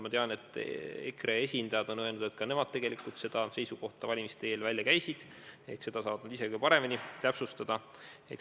Ma tean, et EKRE esindajad on öelnud, et ka nemad tegelikult käisid selle seisukoha valimiste eel välja, ehk nad saavad seda ise kõige paremini täpsustada.